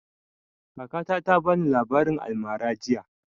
Kakata ta bani labarin almara jiya